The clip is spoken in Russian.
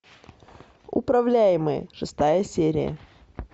управляемые шестая серия